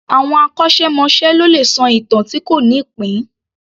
Àwọn akọ́ṣẹ́- mọṣẹ́ ló lè sọ ìtàn tí kò ní ìpín